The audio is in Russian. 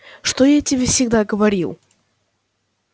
что я тебе всегда говорил